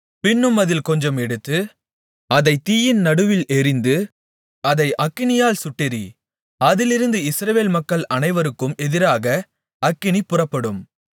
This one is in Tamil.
பின்னும் அதில் கொஞ்சம் எடுத்து அதைத் தீயின் நடுவில் எறிந்து அதை அக்கினியால் சுட்டெரி அதிலிருந்து இஸ்ரவேல் மக்கள் அனைவருக்கும் எதிராக அக்கினி புறப்படும்